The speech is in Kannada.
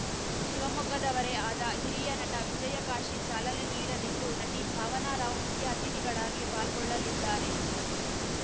ಶಿವಮೊಗ್ಗದವರೇ ಆದ ಹಿರಿಯ ನಟ ವಿಜಯಕಾಶಿ ಚಾಲನೆ ನೀಡಲಿದ್ದು ನಟಿ ಭಾವನಾ ರಾವ್‌ ಮುಖ್ಯ ಅತಿಥಿಗಳಾಗಿ ಪಾಲ್ಗೊಳ್ಳಲಿದ್ದಾರೆ